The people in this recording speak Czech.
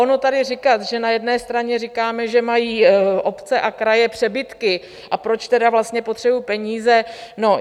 Ono tady říkal, že na jedné straně říkáme, že mají obce a kraje přebytky, a proč tedy vlastně potřebují peníze.